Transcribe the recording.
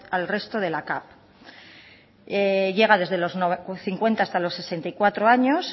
al resto de la capv llega desde los cincuenta hasta los sesenta y cuatro años